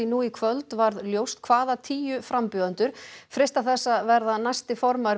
nú í kvöld varð ljóst hvaða tíu frambjóðendur freista þess að verða næsti formaður